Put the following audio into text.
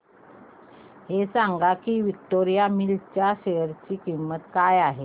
हे सांगा की विक्टोरिया मिल्स च्या शेअर ची किंमत काय आहे